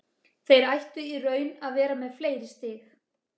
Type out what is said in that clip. Þeir ættu í raun að vera með fleiri stig.